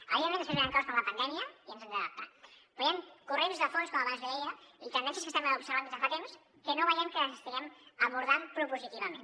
evidentment després venen coses com la pandèmia i ens hem d’adaptar però hi han corrents de fons com abans li deia i tendències que estem observant des de fa temps que no veiem que les estiguem abordant propositivament